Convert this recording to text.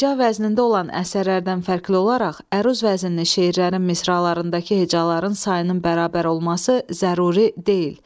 Heja vəznində olan əsərlərdən fərqli olaraq əruz vəznində şeirlərin misralarındakı hecaların sayının bərabər olması zəruri deyil.